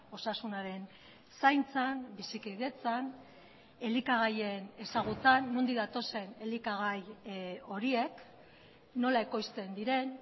osasunaren zaintzan bizikidetzan elikagaien ezagutzan nondik datozen elikagai horiek nola ekoizten diren